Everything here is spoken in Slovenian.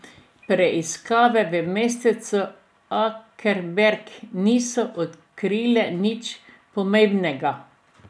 Preiskave v mestecu Akelberg niso odkrile nič pomembnega.